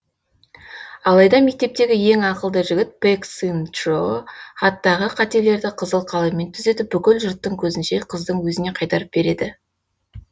алайда мектептегі ең ақылды жігіт пэк сын чжо хаттағы қателерді қызыл қаламмен түзетіп бүкіл жұрттың көзінше қыздың өзіне қайтарып береді